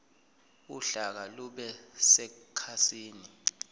uhlaka lube sekhasini